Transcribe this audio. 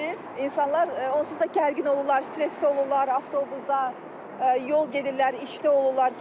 İnsanlar onsuz da gərgin olurlar, stresli olurlar, avtobusda yol gedirlər, işdə olurlar.